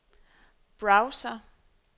browser